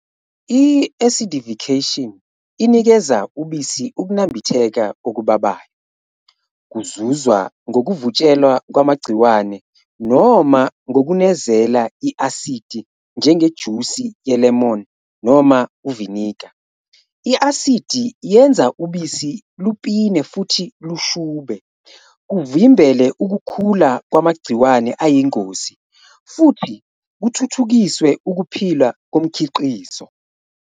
I-acidification, inikeza ubisi ukunambitheka okubabayo, kuzuzwa ngokuvutshelwa kwamagciwane noma ngokunezela i-asidi, njengejusi ye-lemon noma uviniga. I-asidi yenza ubisi lupine futhi lushube, kuvimbele ukukhula kwamagciwane ayingozi futhi kuthuthukiswe ukuphila komkhiqizo.